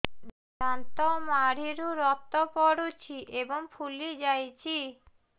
ଦାନ୍ତ ମାଢ଼ିରୁ ରକ୍ତ ପଡୁଛୁ ଏବଂ ଫୁଲି ଯାଇଛି